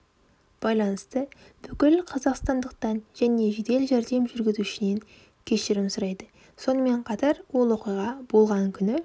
байланысты бүкіл қазақстандықтан және жедел жәрдем жүргізушісінен кешірім сұрайды сонымен қатар ол оқиға болған күні